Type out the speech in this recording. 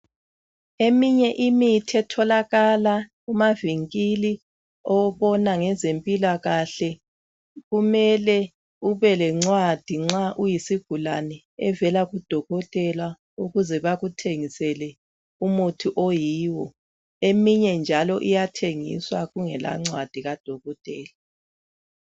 Eminye imithi etholakala emavinkilinabona ngezemoilqkahle kumele ubelencwadi nxa uyisigulane evela kudokotela ukuze bakuthengisele umuthi oyiwo. Eminye njalo iyathengiswa kungelancwadi kadokotela.